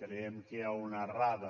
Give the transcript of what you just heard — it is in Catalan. creiem que hi ha una errada